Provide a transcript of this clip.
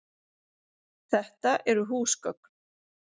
Þetta eru húsgögn.